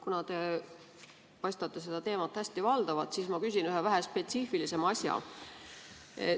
Kuna te paistate seda teemat hästi valdavat, siis ma küsin ühe vähe spetsiifilisema asja.